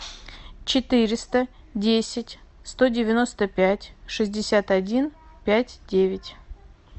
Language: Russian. четыреста десять сто девяносто пять шестьдесят один пять девять